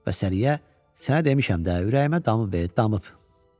Və Səriyə, sənə demişəm də, ürəyimə damıb e, damıb, deyirdi.